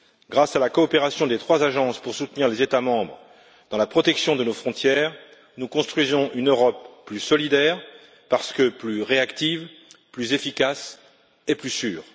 Grâce à la coopération des trois agences pour soutenir les États membres dans la protection de nos frontières, nous construisons une Europe plus solidaire parce que plus réactive, plus efficace et plus sûre.